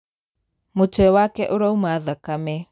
Mũtwe wake ũrauma thakame.